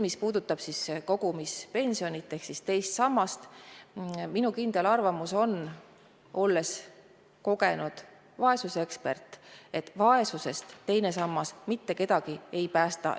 Mis puudutab kogumispensionit ehk teist sammast, siis olles kogenud vaesuseekspert, on minu kindel arvamus, et vaesusest teine sammas mitte kedagi ei päästa.